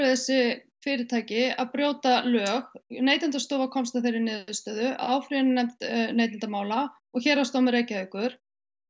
þessi fyrirtæki séu að brjóta lög Neytendastofa komst að þeirri niðurstöðu áfrýjunarnefnd neytendamála og Héraðsdómur Reykjavíkur